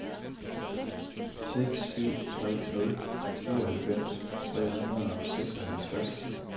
seks syv tre nul syvoghalvfems tre hundrede og seksoghalvtreds